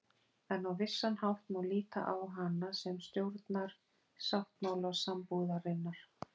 En á vissan hátt má líta á hana sem stjórnarsáttmála sambúðarinnar.